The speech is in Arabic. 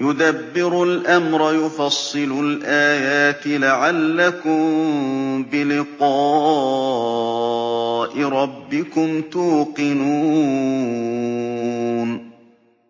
يُدَبِّرُ الْأَمْرَ يُفَصِّلُ الْآيَاتِ لَعَلَّكُم بِلِقَاءِ رَبِّكُمْ تُوقِنُونَ